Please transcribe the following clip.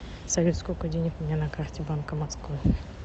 салют сколько денег у меня на карте банка москвы